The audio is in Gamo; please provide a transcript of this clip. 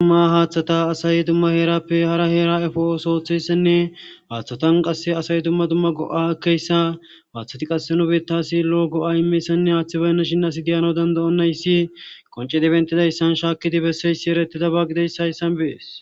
dumma haaththata asay dumma heerappe hara heera efo osooththeyssenne haaththatan qasse asay dumma dumma go7a keyssa haaththati qasse nobetasi loo go7a imeyssanne haaththibaynna shin as diyano dandayonnayssi qonce dibentidayssan shaakkidi besseyssi erettida baagideyssa hyssan be'ees